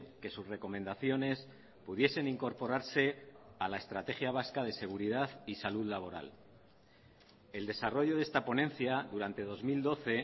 que sus recomendaciones pudiesen incorporarse a la estrategia vasca de seguridad y salud laboral el desarrollo de esta ponencia durante dos mil doce